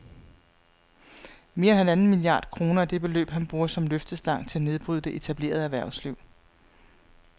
Mere end halvanden milliard kroner er det beløb, han bruger som løftestang til at nedbryde det etablerede erhvervsliv